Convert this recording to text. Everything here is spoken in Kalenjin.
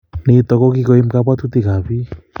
nito ko kikoiim kabwatutik ab piik